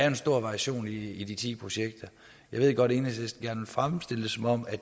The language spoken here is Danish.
en stor variation i de ti projekter jeg ved godt at enhedslisten gerne vil fremstille det som om at